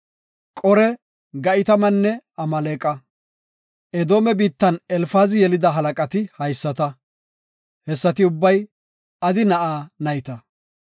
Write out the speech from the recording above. Qore, Ga7itamanne Amaaleqa; Edoome biittan Elfaazi yelida halaqati haysata; hessati ubbay Adi na7aa nayta.